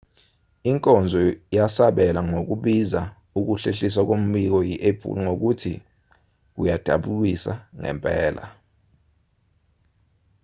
inkonzo yasabela ngokubiza ukuhlehliswa kombiko yi-apple ngokuthi kuyadabukisa ngempela